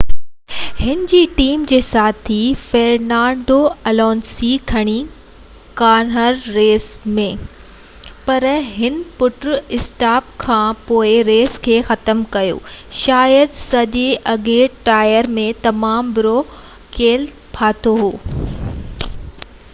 هن جي ٽيم جي ساٿي فيرنانڊو الونسو گهڻي کانهر ريس ۾ پر هن پنهنجي پٽ-اسٽاپ کان پوءِ ريس کي ختم ڪيو شايد ساڄي اڳيئن ٽائر ۾ تمام برو ڪيل ڦاٿو هو